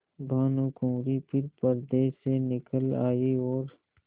भानुकुँवरि फिर पर्दे से निकल आयी और